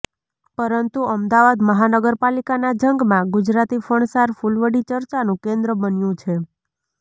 પરંતુ અમદાવાદ મહાનગરપાલિકાના જંગમાં ગુજરાતી ફરસાણ ફુલવડી ચર્ચાનું કેન્દ્ર બન્યું છે